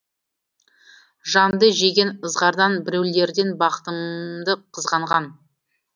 жанды жеген ызғардан біреулерден бақтымды қызғанған